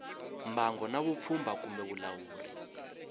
mbango na vupfhumba kumbe vulawuri